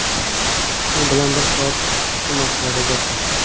U bilan bir soat shu masalada gaplashdik.